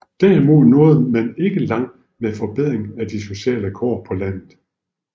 Derimod nåede man ikke langt med forbedring af de sociale kår på landet